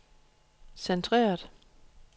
centreret